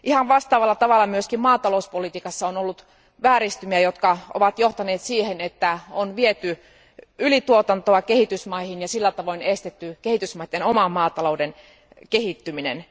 Vastaavalla tavalla myös maatalouspolitiikassa on ollut vääristymiä, jotka ovat johtaneet siihen, että ylituotantoa on viety kehitysmaihin, ja siten on estetty kehitysmaiden oman maatalouden kehittyminen.